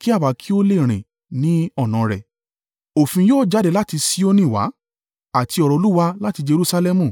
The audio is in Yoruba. kí àwa kí ó lè rìn ní ọ̀nà rẹ̀.” Òfin yóò jáde láti Sioni wá, àti ọ̀rọ̀ Olúwa láti Jerusalẹmu.